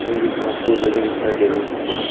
भरी भरी घास फूस लगी हुई दिखाई दे रही है सामने की ओर--